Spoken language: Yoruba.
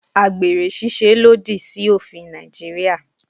Àgbèrè ṣíṣe lòdì sí òfin Nàìjíríà.